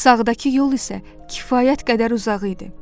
Sağdakı yol isə kifayət qədər uzaq idi.